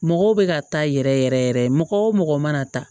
Mɔgɔw bɛ ka taa yɛrɛ yɛrɛ yɛrɛ yɛrɛ yɛrɛ mɔgɔ o mɔgɔ mana taa